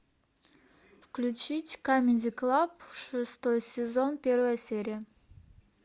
включить камеди клаб шестой сезон первая серия